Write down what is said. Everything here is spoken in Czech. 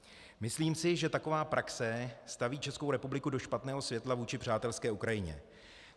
Myslím si, že taková praxe staví Českou republiku do špatného světla vůči přátelské Ukrajině.